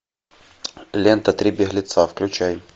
лента три беглеца включай